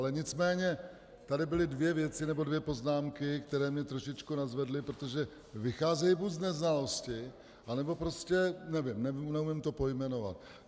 Ale nicméně tady byly dvě věci nebo dvě poznámky, které mě trošičku nadzvedly, protože vycházejí buď z neznalosti, anebo prostě nevím, neumím to pojmenovat.